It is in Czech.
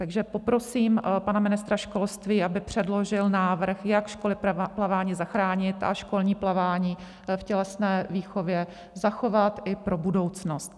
Takže poprosím pana ministra školství, aby předložil návrh, jak školy plavání zachránit a školní plavání v tělesné výchově zachovat i pro budoucnost.